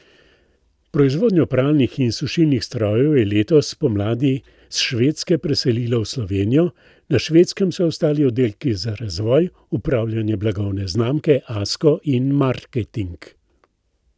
Proizvodnjo pralnih in sušilnih strojev je letos spomladi s Švedske preselilo v Slovenijo, na Švedskem so ostali oddelki za razvoj, upravljanje blagovne znamke Asko in marketing.